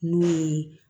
N'u ye